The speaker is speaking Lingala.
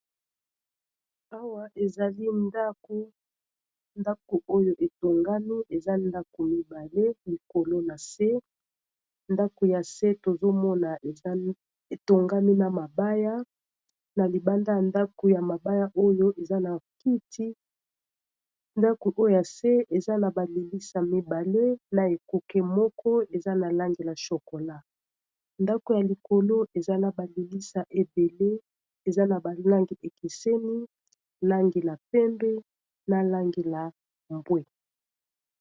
Awa ezali ndako, ndako oyo etongami eza ndako mibale likolo na se ndako ya se tozomona eza etongami na mabaya na libanda ya ndako ya mabaya oyo eza na kiti ndako oyo ya se eza na balilisa mibale na ekuke moko eza na langila chokola, ndako ya likolo eza na balilisa ebele eza na balangi ekeseni langila pembe na langila mbwe.